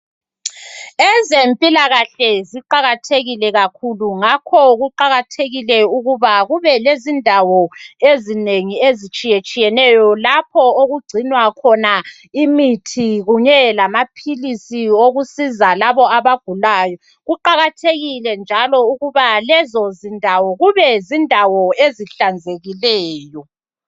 Ezempilakahle ziqakathekile kakhulu ngakho kuqakathekile ukuba kube lezindawo ezinengi ezitshiyetshiyeneyo lapho okugcinwa khona imithi kunye lamaphilisi owokusiza labo abagulayo. Kuqakathekile njalo ukuba lezo zindawo kube zindawo ezihlanzekileyo.